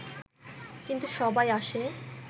কিন্তু সবাই আসে